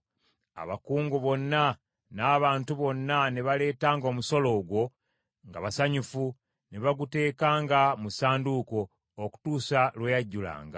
Abakungu bonna n’abantu bonna ne baleetanga omusolo ogwo nga basanyufu, ne baguteekanga mu ssanduuko, okutuusa lwe yajjulanga.